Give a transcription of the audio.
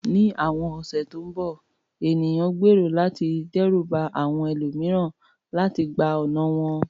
Ní àwọn ọ̀sẹ̀ tó ń bọ̀, ènìyàn gbèrò láti dẹ́rù ba àwọn ẹlòmíràn láti gba ọ̀nà wọn.